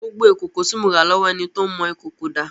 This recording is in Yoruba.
Gbogbo ìkòkò tí mo rà lọ́wọ́ ẹni tó ń mọ ìkòkò dà?